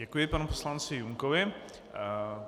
Děkuji panu poslanci Junkovi.